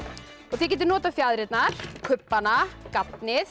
þið getið notað fjaðrirnar kubbana